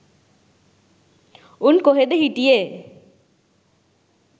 උන් කොහෙද හිටියේ